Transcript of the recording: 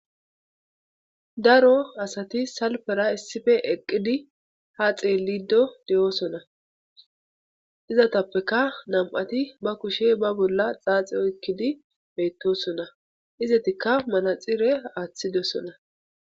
Daro asati salpera issife eqqidi ha xeelido de'oosona izatappeka nam'ati ba kushe ba bolla xaaxiyoekkidi beettosona izatikka manaxire aaththidosona.